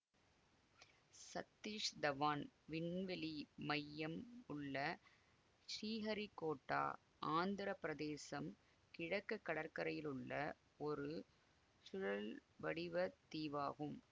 சதீஷ் தவான் விண்வெளி மையம் உள்ள ஷீஹரிகோட்டா ஆந்திர பிரதேசம் கிழக்கு கடற்கரையிலுள்ள ஒரு சுழல் வடிவ தீவாகும்